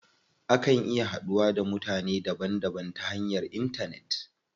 Akan iya haduwa da mutane daban daban ta hanyar intanet.